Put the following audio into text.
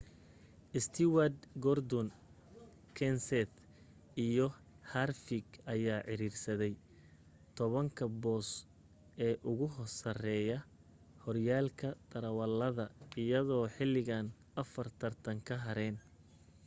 stewart gordon kenseth iyo harvick ayaa ciriirsaday tobanka boos ee ugu sareeya horyaalka darawalada iyadoo xilligan afar tartan ka hareen